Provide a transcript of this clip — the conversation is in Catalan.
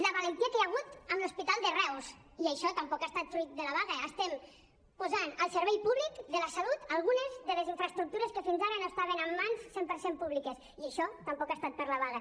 la valentia que hi ha hagut amb l’hospital de reus i això tampoc ha estat fruit de la vaga estem posant al servei públic de la salut algunes de les infraestructures que fins ara no estaven en mans cent per cent públiques i això tampoc ha estat per la vaga